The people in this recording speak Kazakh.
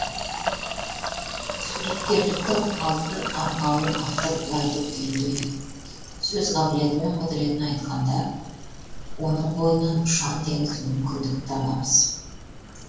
суреткерліктің алтын арқауын автор былай деп түйіндейді сөз қабілеті мен құдіретін айтқанда оның бойынан ұшан теңіз мүмкіндік табамыз